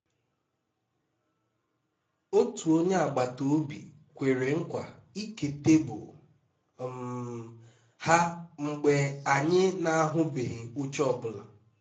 otu onye agbata obi kwere nkwa ịke tebụl um ha mgbe anyị na-ahụghị oche ọ bụla